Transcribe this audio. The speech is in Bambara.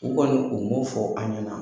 U kɔni u m'o fɔ an ɲɛna.